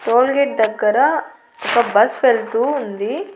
Tollgate దగ్గర ఒక bus వెళుతూ ఉంది.